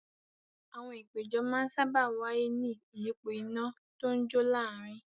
Àwọn ìpéjọ máa ń sáábà wáyé ní ìyípo iná tó ń jó láàárin.